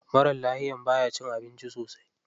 Maran lafiya baya cin abinci sosai.